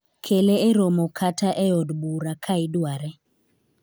kele e romo kata e od bura ka idware